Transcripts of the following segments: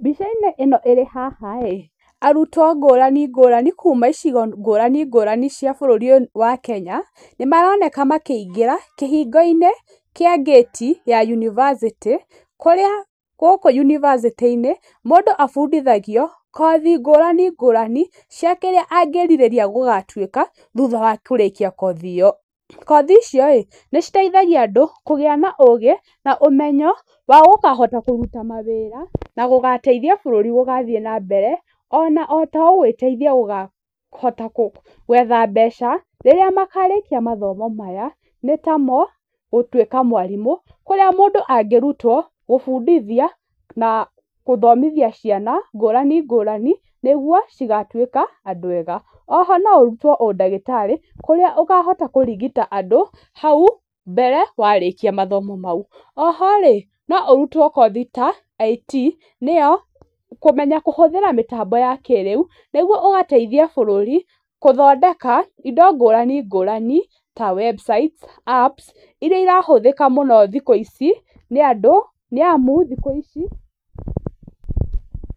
Mbica-inĩ ĩno ĩrĩ haha rĩ, arutwo ngũrani ngũrani kuuma icigo ngũrani ngũrani cia bũrũri ũyũ wa Kenya, nĩ maroneka makĩingĩra kĩhingo-inĩ kĩa ngĩti ya yunibacĩtĩ, kũrĩ gũkũ yunibacĩtĩ-inĩ, mũndũ abundithagio kothi ngũrani ngũrani cia kĩrĩa angĩrirĩria gũgatuĩka, thutha wa kũrĩkia kothi ĩyo, kothi icio rĩ, nĩ citeithagia andũ kũgĩa na ũgĩ, na ũmenyo wa gũkahota kũruta mawĩra, na gũgateithia bũrũri gũthiĩ nambere, ona ta o gwĩteithia gũkahota kũ gwetha mbeca rĩrĩa makarĩkia mathomo maya nĩ ta mo gũtuĩka mwarimũ kũrĩa mũndũ angĩrutwo gũbundithia na gũthomithia ciana ngũrani ngũrani nĩguo cigatuĩka andũ ega, oho no ũrũtwo ũndagĩtarĩ, kũrĩa ũkahota kũrigita andũ hau mbere warĩkia mathomo mau. Oho no ũrutwo kothi ta IT nĩyo kũmenya kũhũthĩra mĩtambo ya kĩrĩu nĩguo ũgateithia bũrũri gũthondeka indo ngũrani ngũrani ta website, apps iria irahũthĩka mũno thikũ ici, nĩ andũ, nĩ amu thikũ ici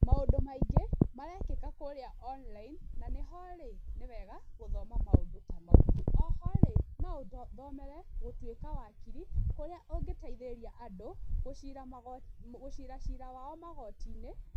maũndũ maingĩ marekĩka kũrĩa online na nĩ ho rĩ, nĩ wega gũthoma maũndũ ta mau, oho rĩ no ũthomere gũtuĩka wakiri kũrĩa ũngĩteithĩrĩria andũ gũcira gũcira cira wao magoti-inĩ.